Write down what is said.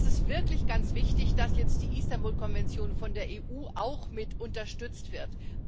Es ist wirklich ganz wichtig, dass jetzt die Istanbul Konvention von der EU auch mit unterstützt wird.